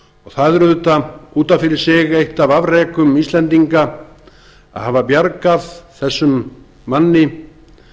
það er auðvitað eitt af fyrir sig eitt af afrekum íslendinga að hafa bjargað þessum manni